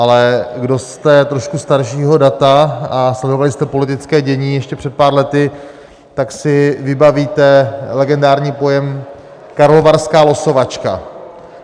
Ale kdo jste trošku staršího data a sledovali jste politické dění ještě před pár lety, tak si vybavíte legendární pojem karlovarská losovačka.